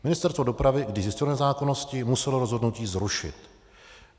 Ministerstvo dopravy, když zjistilo nezákonnosti, muselo rozhodnutí zrušit.